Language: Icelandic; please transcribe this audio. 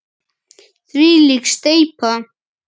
Þvílík steypa!